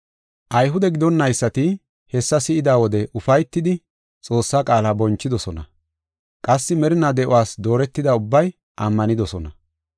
Ayhude gidonnaysati hessa si7ida wode ufaytidi Xoossaa qaala bonchidosona. Qassi merinaa de7uwas dooretida ubbay ammanidosona.